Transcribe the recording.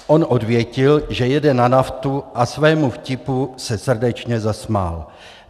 On odvětil, že jede na naftu a svému vtipu se srdečně zasmál.